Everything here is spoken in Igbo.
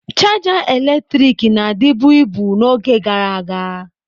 Chaja eletrik na-adịbu ibu n'oge gara aga.